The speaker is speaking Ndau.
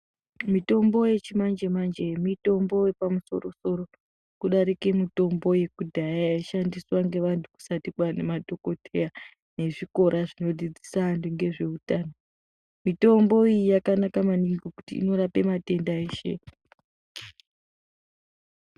Mitombo yechimanje manje mitombo yepamusoro soro kudarike mitombo yekudhaya yaishandiswa ngevantu kusati kwaane madhokodheya nezvikora zvinodzidzisa antu ngezveutano mitombo iyi yakanaka maningi ngekuti inorape matenda eshe.